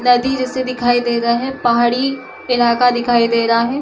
नदी जैसे दिखाई दे रहा है पहाड़ी इलाका दिखाई दे रहा है।